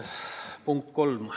Punkt kolm.